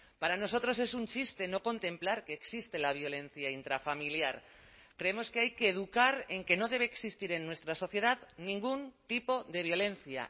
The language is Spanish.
para nosotros es un chiste no contemplar que existe la violencia intrafamiliar creemos que hay que educar en que no debe existir en nuestra sociedad ningún tipo de violencia